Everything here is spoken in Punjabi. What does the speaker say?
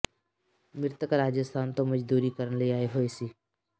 ਮ੍ਰਿਤਕ ਰਾਜਸਥਾਨ ਤੋਂ ਮਜਦੂਰੀ ਕਰਨ ਲਈ ਆਏ ਹੋਏ ਸੀ